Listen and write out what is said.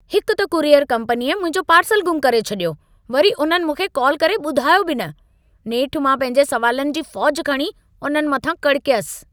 हिकु त कुरियर कम्पनीअ मुंहिंजो पार्सल गुम करे छॾियो। वरी उन्हनि मूंखे कॉल करे ॿुधायो बि न। नेठि मां पंहिंजे सवालनि जी फ़ौजि खणी उन्हनि मथां कड़कयसि ।